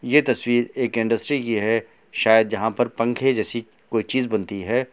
ये तस्वीर एक इंडस्ट्री की है शायद जहाँ पर पंखे जैसी कोई चीज बनती है।